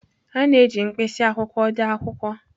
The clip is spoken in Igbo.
A na-eji mkpịsị akwụkwọ dee akwụkwọ